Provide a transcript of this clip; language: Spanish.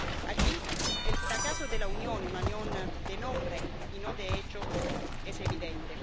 Aquí, el fracaso de la Unión —una Unión de nombre y no de hecho— es evidente.